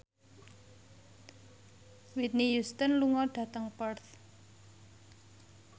Whitney Houston lunga dhateng Perth